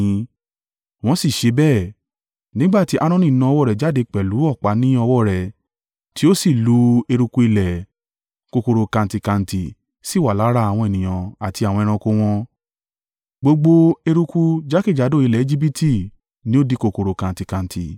Wọ́n sì ṣe bẹ́ẹ̀, nígbà tí Aaroni na ọwọ́ rẹ́ jáde pẹ̀lú ọ̀pá ní ọwọ́ rẹ̀, tí ó sì lu eruku ilẹ̀, kòkòrò-kantíkantí sì wà lára àwọn ènìyàn àti àwọn ẹranko wọn. Gbogbo eruku jákèjádò ilẹ̀ Ejibiti ni ó di kòkòrò-kantíkantí.